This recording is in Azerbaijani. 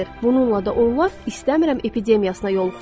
Bununla da onlar "İstəmirəm" epidemiyasına yoluxurlar.